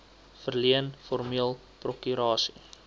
verleen formeel prokurasie